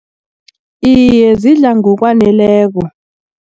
Iye, zidla ngokwaneleko.